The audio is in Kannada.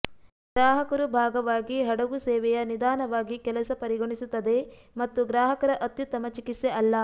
ಗ್ರಾಹಕರು ಭಾಗವಾಗಿ ಹಡಗು ಸೇವೆಯ ನಿಧಾನವಾಗಿ ಕೆಲಸ ಪರಿಗಣಿಸುತ್ತದೆ ಮತ್ತು ಗ್ರಾಹಕರ ಅತ್ಯುತ್ತಮ ಚಿಕಿತ್ಸೆ ಅಲ್ಲ